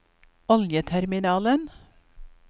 oljeterminalen